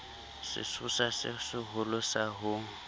sesosa se seholo sa ho